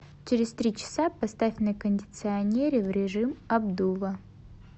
через три часа поставь на кондиционере в режим обдува